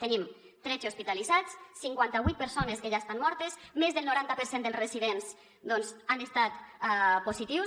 tenim tretze hospitalitzats cinquanta vuit persones que ja estan mortes més del noranta per cent dels residents doncs han estat positius